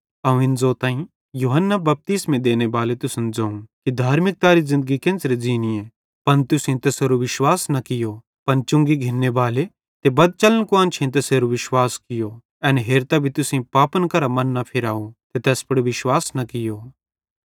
अवं इन ज़ोताईं यूहन्ना बपतिस्मो देनेबाले तुसन ज़ोवं कि धार्मिकतारी ज़िन्दगी केन्च़रां ज़ींनीए पन तुसेईं तैसेरू विश्वास न कियो पन चुंगी घिन्ने बाले ते बदचलन कुआन्शेईं तैसेरू विश्वास कियूं एन हेरतां भी तुसेईं पापन करां मन न फिराव ते तैस पुड़ विश्वास न कियो